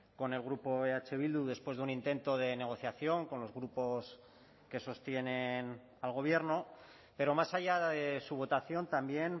con el grupo eh bildu después de un intento de negociación con los grupos que sostienen al gobierno pero más allá de su votación también